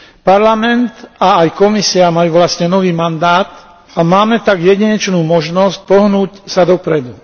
Parlament a aj Komisia majú vlastne nový mandát a máme tak jedinečnú možnosť pohnúť sa dopredu.